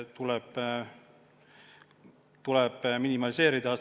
Need tuleb minimaliseerida.